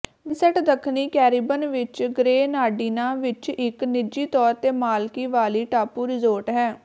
Vincent ਦੱਖਣੀ Caribbean ਵਿੱਚ ਗਰੇਨਾਡੀਨਾਂ ਵਿੱਚ ਇੱਕ ਨਿਜੀ ਤੌਰ ਤੇ ਮਾਲਕੀ ਵਾਲੀ ਟਾਪੂ ਰਿਜ਼ੋਰਟ ਹੈ